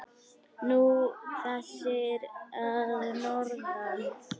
Nú, þessir að norðan.